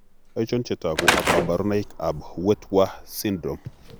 Achon chetogu ak kaborunoik ab Wittwer syndrome?